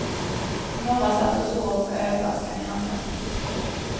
Några satt och sov med ölflaskan i handen.